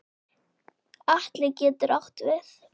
Atli getur átt við